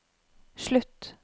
slutt